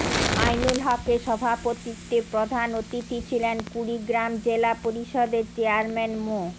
আইনুল হকের সভাপতিত্বে প্রধান অতিথি ছিলেন কুড়িগ্রাম জেলা পরিষদের চেয়ারম্যান মো